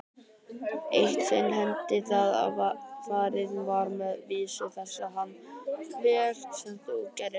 Eitt sinn henti það að farið var með vísu þessa þann veg sem þú gerðir.